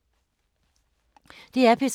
DR P3